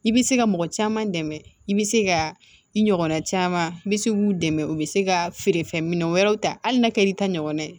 I bɛ se ka mɔgɔ caman dɛmɛ i bɛ se ka i ɲɔgɔnna caman i bɛ se k'u dɛmɛ u bɛ se ka feerefɛn minɛ wɛrɛw ta hali n'a kɛr'i ta ɲɔgɔn ye